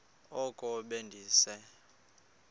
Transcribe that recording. oko be ndise